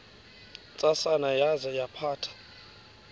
ntsasana yaza yaphatha